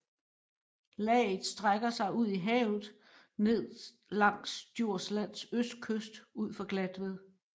Laget strækker sig ud i havet ned langs Djurslands østkyst ud for Glatved